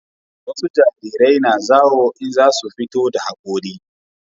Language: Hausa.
wasu jarirai na zawo in za su fito da hakori